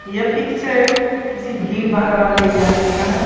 ये पिक्चर किसी भीड़बार वाले इलाके का है।